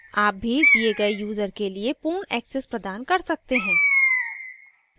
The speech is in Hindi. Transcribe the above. आप भी दिए गए यूजर के लिए पूर्ण access प्रदान कर सकते हैं